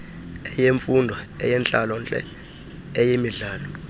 eyemfundo eyentlalontle eyemidlalo